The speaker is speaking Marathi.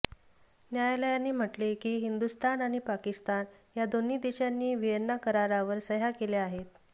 न्यायालयाने म्हटले की हिंदुस्थान आणि पाकिस्तान या दोन्ही देशांनी व्हिएन्ना करारावर सह्या केल्या आहेत